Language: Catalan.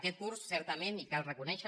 aquest curs certament i cal reconèixer